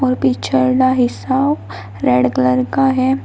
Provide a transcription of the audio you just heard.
और पीछे वाला हिस्सा रेड कलर का है।